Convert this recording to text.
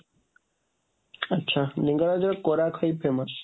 ଆଛା ଲିଙ୍ଗରାଜଙ୍କ କୋରାଖଇ famous